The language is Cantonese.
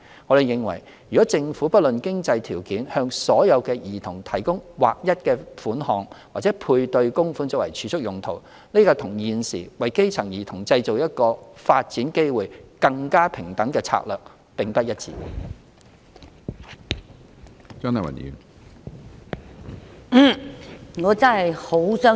我們認為，如政府不論經濟條件向所有兒童提供劃一的款項或配對供款作儲蓄用途，這與現時為基層兒童製造一個發展機會更平等的策略並不一致。